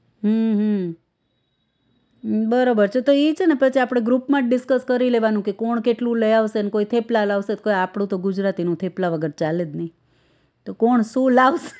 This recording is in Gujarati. હ હ બરોબર છે તો ઈ છે ને પછી આપણે group માં જ discuss કરી લેવાનું કે કોણ કેટલું લઇ આવશે ને કોઈ થેપલા લાવશેને કોઈ આપણું તો ગુજરાતીનું થેપલા વગર તો ચાલે જ નહિ તો કોણ શું લાવશે